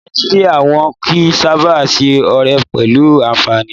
Ní Nàìjíríyà, wọ́n kìí sáábà ṣe ọ̀rẹ́ pẹ̀lú anfààní